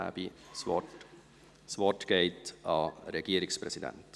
Das Wort hat der Regierungspräsident.